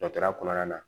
Dɔtɔrɔya kɔnɔna na